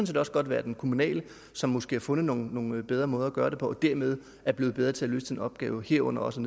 set også godt være den kommunale som måske har fundet nogle nogle bedre måder at gøre det på og dermed er blevet bedre til at løse den opgave herunder også